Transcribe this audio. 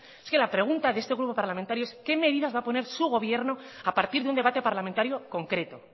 es que la pregunta de este grupo parlamentario es qué medidas va a poner su gobierno a partir de un debate parlamentario concreto